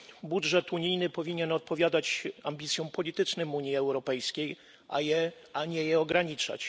Budżet unijny powinien odpowiadać ambicjom politycznym Unii Europejskiej, a nie je ograniczać.